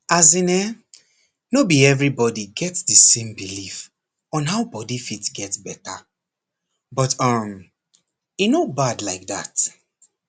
as in[um]no be everybody get the same belief on how body fit get better but um e no bad like that